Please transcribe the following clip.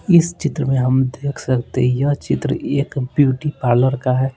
इस चित्र में हम देख सकते हैं यह चित्र एक ब्यूटी पार्लर का है।